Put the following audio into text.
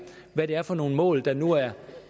hvad det er for nogle mål der nu er